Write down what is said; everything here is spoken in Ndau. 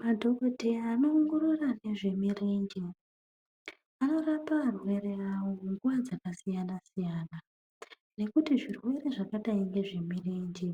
Madhokodheya anowongorora nezvemirenje anorapa arwere awo nguwa dzakasiyana siyana ngekuti zvirwere zvakadai ngezvemurenje